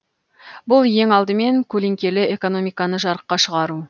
бұл ең алдымен көлеңкелі экономиканы жарыққа шығару